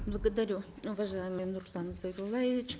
благодарю уважаемый нурлан зайроллаевич